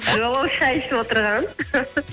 жоқ ол шәй ішіп отырған